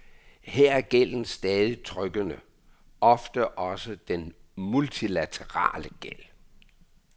Her er gælden stadig trykkende, ofte også den multilaterale gæld.